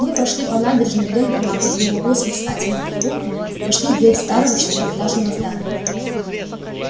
мы прошли по набережной вдоль канала и на углу с москательным переулком вошли в дверь старого четырёхэтажного здания